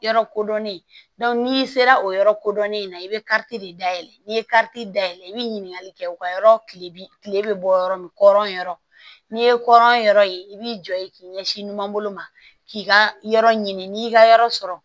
Yɔrɔ kodɔnnen n'i sera o yɔrɔ kodɔnnen na i bɛ kariti de dayɛlɛ n'i ye dayɛlɛ i bɛ ɲininkali kɛ u ka yɔrɔ kile bi kile be bɔ yɔrɔ min kɔrɔ n'i ye kɔrɔ yɔrɔ ye i b'i jɔ ye k'i ɲɛsin numanbolo ma k'i ka yɔrɔ ɲini n'i y'i ka yɔrɔ sɔrɔ